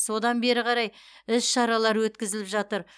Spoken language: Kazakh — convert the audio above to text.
содан бері қарай іс шаралар өткізіліп жатыр